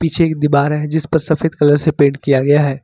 पीछे एक दीवार है जिस पर सफेद कलर से पेंट किया गया है।